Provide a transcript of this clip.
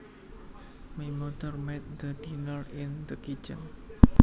My mother made the dinner in the kitchen